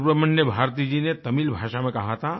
सुब्रमण्यम भारती जी ने तमिल भाषा में कहा था